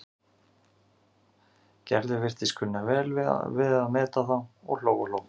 Gerður virtist kunna vel að meta þá og hló og hló.